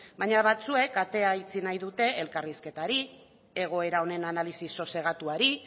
baina batzuek atea itxi nahi dute elkarrizketari egoera honen analisi sosegatuari